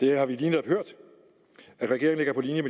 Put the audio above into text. har vi lige netop hørt at regeringen